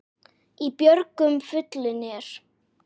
Í björgum fuglinn er.